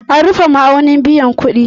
An rufe ma'aunin biyan kuɗi